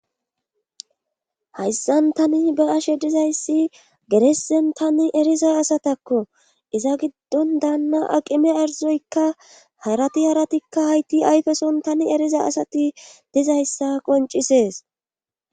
hayssan tani ba7ashe dizayssi geresen tani eriza asatakko iza giddon daanna aqime arizoykka harati haratikka hayti ayfeson tani eriza asati dizayssa qoncisees